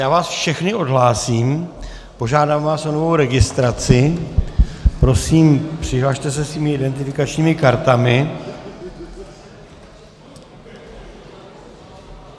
Já vás všechny odhlásím, požádám vás o novou registraci a prosím, přihlaste se svými identifikačními kartami.